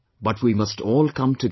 But we must all come together